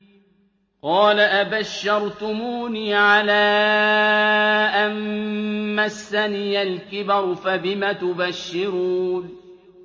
قَالَ أَبَشَّرْتُمُونِي عَلَىٰ أَن مَّسَّنِيَ الْكِبَرُ فَبِمَ تُبَشِّرُونَ